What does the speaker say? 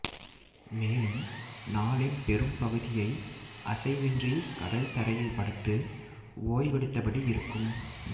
மேலும் நாளின் பெரும்பகுதியை அசைவின்றி கடல் தரையில் படுத்து ஓய்வெடுத்தபடி இருக்கும்